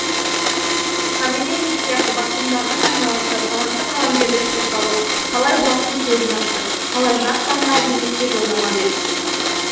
современник сияқты басылымдардың айналасына талантты қаламгерлер топталып талай бұлақтың көзін ашты талай жас дарынға әдебиетке жолдама берді